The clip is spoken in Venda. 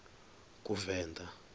kuvenḓa